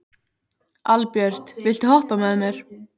Albjört, viltu hoppa með mér?